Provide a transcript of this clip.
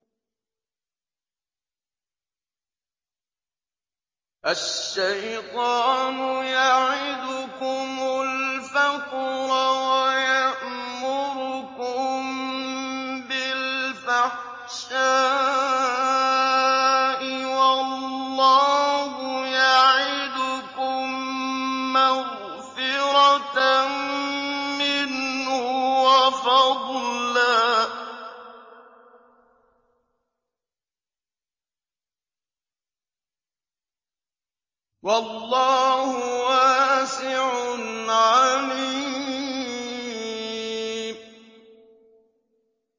الشَّيْطَانُ يَعِدُكُمُ الْفَقْرَ وَيَأْمُرُكُم بِالْفَحْشَاءِ ۖ وَاللَّهُ يَعِدُكُم مَّغْفِرَةً مِّنْهُ وَفَضْلًا ۗ وَاللَّهُ وَاسِعٌ عَلِيمٌ